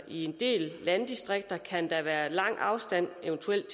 i en del landdistrikter kan der eventuelt være lang afstand